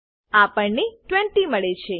આપણને 20 મળે છે